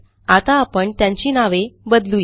आता आपण त्यांची नावे बदलू या